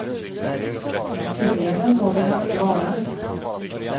Tydligare än så vill han inte vara.